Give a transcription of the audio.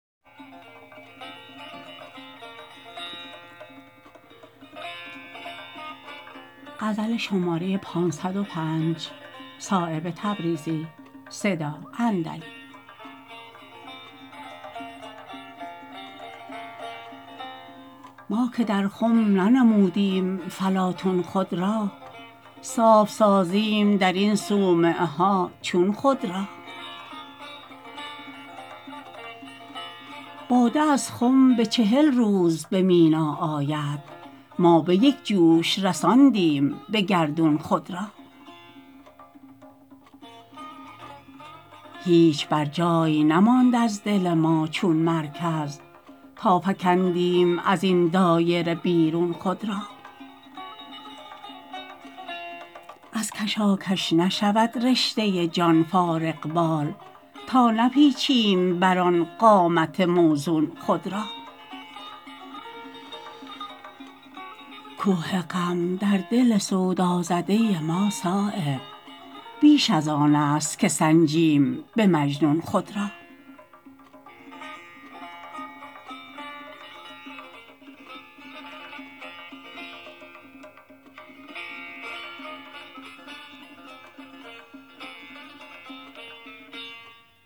ما که در خم ننمودیم فلاطون خود را صاف سازیم درین صومعه ها چون خود را باده از خم به چهل روز به مینا آید ما به یک جوش رساندیم به گردون خود را هیچ بر جای نماند از دل ما چون مرکز تا فکندیم ازین دایره بیرون خود را از کشاکش نشود رشته جان فارغبال تا نپیچیم بر آن قامت موزون خود را کوه غم در دل سودازده ما صایب بیش از آن است که سنجیم به مجنون خود را